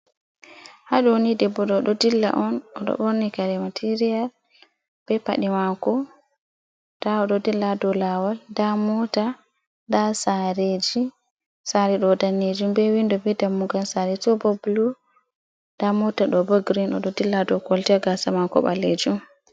Ha ɗoni debbo ɗo oɗo ɗilla on oɗo borni kare matirial be paɗe mako da odo dilla dow lawal da mota da sareji sare ɗo danejum be windo be dammugal sare to ɓo bulu da mota do ɓo green odo dilla do koltaya gasa mako ɓalejum.